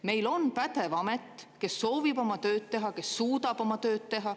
Meil on pädev amet, kes soovib oma tööd teha, kes suudab oma töö teha.